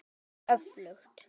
Það er öflugt.